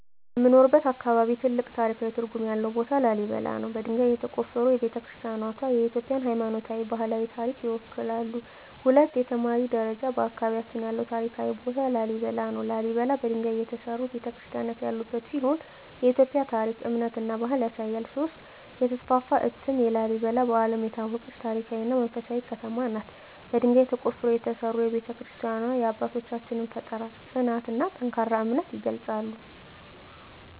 በምኖርበት አካባቢ ትልቅ ታሪካዊ ትርጉም ያለው ቦታ ላሊበላ ነው። በድንጋይ የተቆፈሩ ቤተ-ክርስቲያናትዋ የኢትዮጵያን ሃይማኖታዊና ባህላዊ ታሪክ ይወክላሉ። 2) የተማሪ ደረጃ በአካባቢያችን ያለው ታሪካዊ ቦታ ላሊበላ ነው። ላሊበላ በድንጋይ የተሠሩ ቤተ-ክርስቲያናት ያሉበት ሲሆን የኢትዮጵያን ታሪክ፣ እምነትና ባህል ያሳያል። 3) የተስፋፋ እትም ላሊበላ በዓለም የታወቀች ታሪካዊ እና መንፈሳዊ ከተማ ናት። በድንጋይ ተቆፍረው የተሠሩ ቤተ-ክርስቲያናትዋ የአባቶቻችንን ፍጠራ፣ ጽናትና ጠንካራ እምነት ይገልጻሉ።